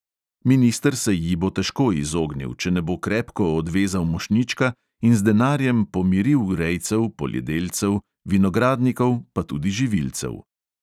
Minister se ji bo težko izognil, če ne bo krepko odvezal mošnjička in z denarjem pomiril rejcev, poljedelcev, vinogradnikov, pa tudi živilcev.